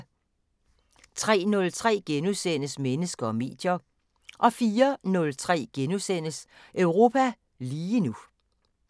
03:03: Mennesker og medier * 04:03: Europa lige nu *